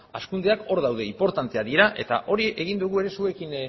hazkundeak hor daude inportanteak dira eta hori egin dugu ere zuekin